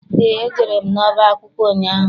Eé, ejere m n'ọba akwụkwọ ụnyaahụ.